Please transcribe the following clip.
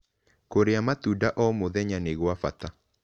Kũrĩa matũnda oh mũthenya nĩ gwa bata